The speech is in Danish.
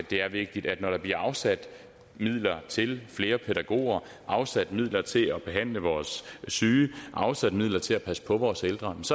det er vigtigt når der bliver afsat midler til flere pædagoger afsat midler til at behandle vores syge afsat midler til at passe på vores ældre